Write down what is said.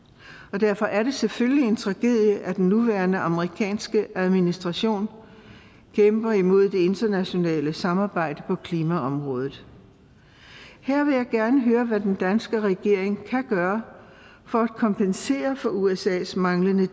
derfor er det selvfølgelig en tragedie at den nuværende amerikanske administration kæmper imod det internationale samarbejde på klimaområdet her vil jeg gerne høre hvad den danske regering kan gøre for at kompensere for usas manglende